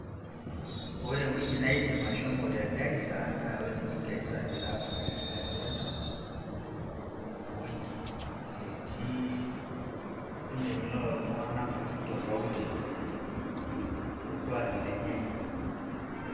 Ore ewueji naidim ashomo te Garissa naa ewueji naji Garissa giraffe centre. Ewueji netii olpukunet loo iltung`anak tofauti o ilkuaki lenye.